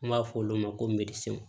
An b' fɔ olu ma ko